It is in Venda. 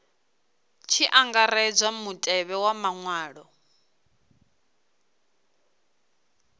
tshi angaredzwa mutevhe wa maṅwalwa